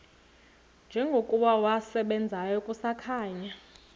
njengokuba wasebenzayo kusakhanya